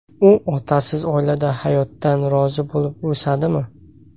U otasiz oilada hayotdan rozi bo‘lib o‘sadimi?